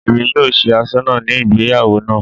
Èmi yóò ṣe asọ́nà ní ìgbéyàwó náà